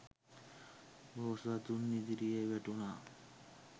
බෝසතුන් ඉදිරියේ වැටුණා.